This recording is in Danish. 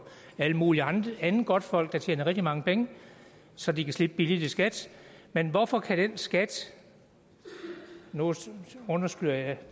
alt muligt andet godtfolk der tjener rigtig mange penge så de kan slippe billigt i skat men hvorfor kan den skat nu undskylder jeg